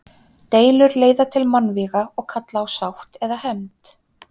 Deilur leiða til mannvíga og kalla á sátt eða hefnd.